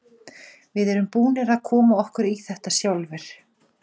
Við erum búnir að koma okkur í þetta sjálfir.